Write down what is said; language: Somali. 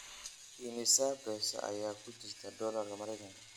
immisa peso ayaa ku jira dollarka Maraykanka